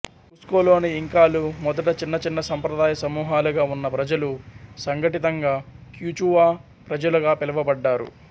కుస్కో లోని ఇంకాలు మొదట చిన్న చిన్న సంప్రదాయ సమూహాలుగా ఉన్న ప్రజలు సంఘటితంగా క్యుచూవాప్రజలుగా పిలువబడ్డారు